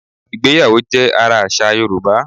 Ìgbéyàwó jẹ́ ara àṣà Yorùbá